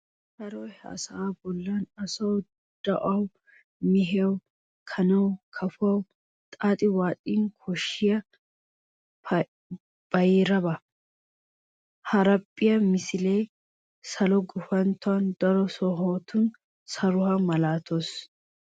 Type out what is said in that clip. Saroy ha sa"aa bollan asawu, do'awu, mehiyawu, kanawu, kafuwawu xaaxi waaxin koshshiya bayraba. Haraphphiyaa misilee salo gufantton daro sohotun saruwaa malaata.